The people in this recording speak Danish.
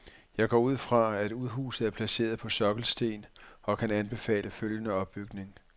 Jeg går ud fra, at udhuset er placeret på sokkelsten og kan anbefale følgende opbygning.